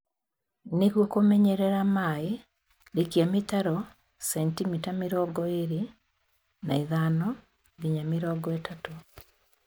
Nĩguo kũmenyerera maĩĩ rikia mĩtaro sentimita mĩrongo ĩlĩ na ithano nginya mĩrongo ĩtatũ